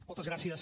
moltes gràcies